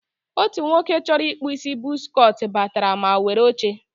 otu nwoke chọrọ ịkpụ isi bọz cọt batara ma were oche.